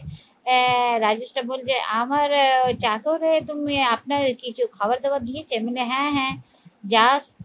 আহ রাজেশ টা বলবে আমার ওই চাকরে তুমি আপনার কিছু খাবার দাবার দিয়েছে? মানে হ্যাঁ হ্যাঁ যাস